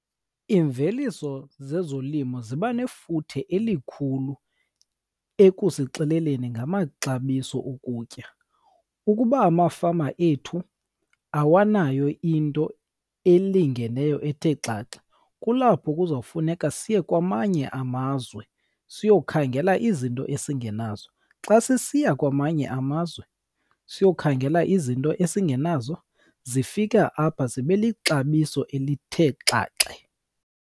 Imveliso zezolimo ziba nefuthe elikhulu ekusixeleleni ngamaxabiso okutya. Ukuba amafama ethu awanayo into elingeneyo ethe xaxa, kulapho kuzawufuneka siye kwamanye amazwe siyokhangela izinto esingenazo. Xa sisiya kwamanye amazwe siyokhangela izinto ebesingenazo, zifika apha zibe lixabiso elithe xaxe.